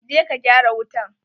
Je ka gyara wutan!